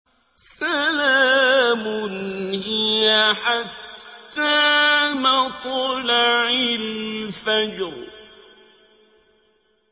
سَلَامٌ هِيَ حَتَّىٰ مَطْلَعِ الْفَجْرِ